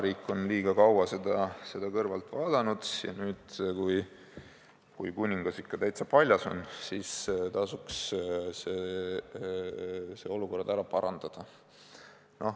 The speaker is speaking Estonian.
Riik on liiga kaua seda kõrvalt vaadanud ja nüüd, kui kuningas ikka täitsa paljas on, tasuks see olukord ära parandada.